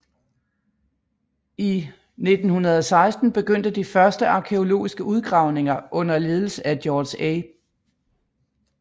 I 1916 begyndte de første arkæologiske udgravninger under ledelse af George A